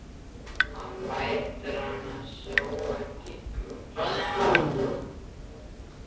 Hann lætur sem hann sjái hana ekki.